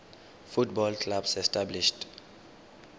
football clubs established